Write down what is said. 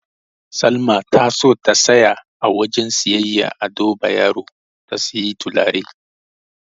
Salma ta so ta tsaya a wajen siyayyar Ado Bayero ta siyi turare.